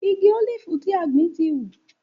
Igi ólífì tí a gbìn ti hù.